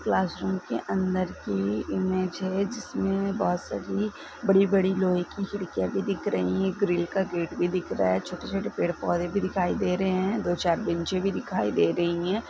Classroom के अंदर की इमेज है इसमे बहुत सारी बड़ी बड़ी लौहै की खिड़कियाँ भी दिख रही है ग्रिल का गेट भी दिख रहा है छोटे-छोटे पेड पौधे भी दिखाई दे रहे है दो चार बेंचे भी दिखाई दे रही है।